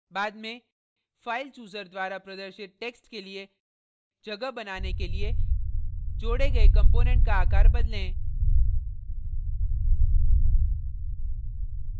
बाद में file chooser द्वारा प्रदर्शित text के लिए जगह बनाने के लिए जोड़े गए component का आकार बदलें